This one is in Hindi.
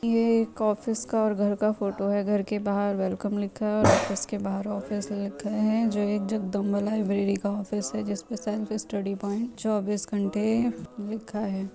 यह एक ऑफिस और घर का फ़ोटो है | घर के बाहर वेलकम लिखा है और ऑफिस के बाहर ऑफिस लिखा है जो एक जगदंबा लियब्ररी का ऑफिस है जिसमें सेल्फ स्टडी प्वाइंट चौबीस घंटे लिखा है ।